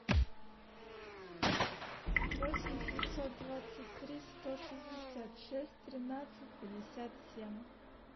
восемь шестьсот двадцать три сто шестьдесят шесть тринадцать пятьдесят семь